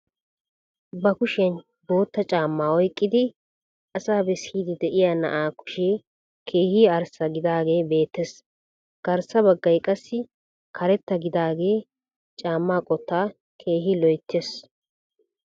Ba kushshiyaan bootta caammaa oyqqidi asaa beessidi de'iyaa na'aa kushshee keehi arssa gidaagee beettees. garssa baggaay qassi karetta gidaagee caammaa qoottaa keehi loyttiis.